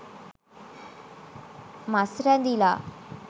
මස් රැඳිලා.